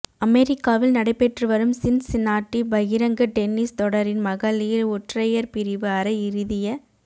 அமெரிக்காவில் நடைபெற்றுவரும் சின்சினாட்டி பகிரங்க டென்னிஸ் தொடரின் மகளிர் ஒற்றையர் பிரிவு அரை இறுதிய